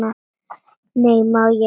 Nei, má ég!